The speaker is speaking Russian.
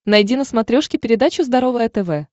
найди на смотрешке передачу здоровое тв